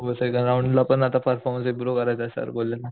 हो second round ला पण परफॉर्मन्स इम्प्रोव करायचा सर बोलले